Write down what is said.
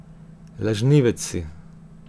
Lažnivec si.